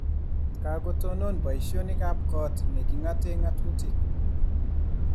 Kikatonon boisionik ab kot nr kingate ngatutik